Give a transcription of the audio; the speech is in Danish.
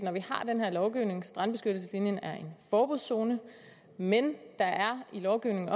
at vi har den her lovgivning strandbeskyttelseslinjen er en forbudszone men i lovgivningen